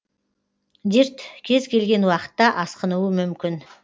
дерт кез келген уақытта асқынуы мүмкін